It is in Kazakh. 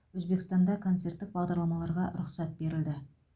өзбекстанда концерттік бағдарламаларға рұқсат берілді